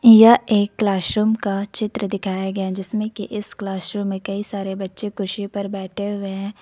यह एक क्लासरूम का चित्र दिखाया गया है जिसमें की इस क्लासरूम कई सारे बच्चे कुर्सी पर बैठे हुए हैं।